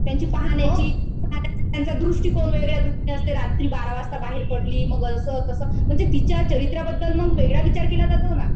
त्यांची पाहण्याची, त्यांचा दृष्टिकोन वेगळा असतो. रात्री बारा वाजता बाहेर पडली. मग असं तसं. म्हणजे तिच्या चरित्र्याबद्दल मग वेगळा विचार केला जातो ना.